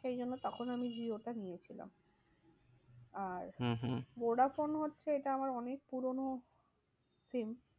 সেই জন্য তখন আমি জিওটা নিয়েছিলাম। আর হম হম ভোডাফোন হচ্ছে এটা আমার অনেক পুরোনো SIM